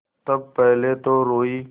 तब पहले तो रोयी